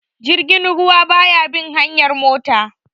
Jirgin ruwa ba ya bin hanyar mota